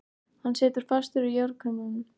Hann situr fastur í járnkrumlum.